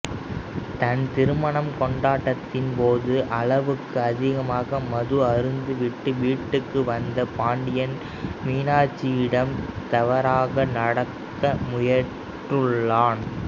தன் திருமணக் கொண்டாட்டத்தின் போது அளவுக்கு அதிகமாக மது அருந்திவிட்டு வீட்டுக்கு வந்த பாண்டியன் மீனாட்சியிடம் தவறாக நடக்க முயன்றுள்ளான்